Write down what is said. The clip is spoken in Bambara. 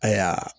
Ayiya